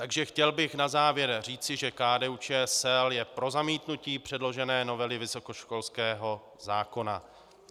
Takže chtěl bych na závěr říci, že KDU-ČSL je pro zamítnutí předložené novely vysokoškolského zákona.